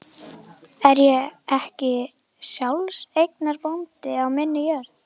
Er ég ekki sjálfseignarbóndi á minni jörð?